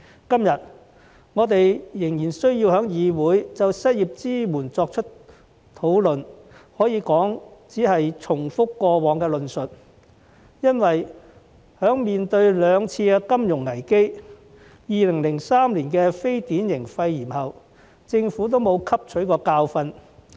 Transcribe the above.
今天，我們仍然需要在議會就失業支援作出討論，可以說只是重複過往的論述，因為在面對兩次金融危機及2003年的非典型肺炎疫情後，政府並無汲取教訓。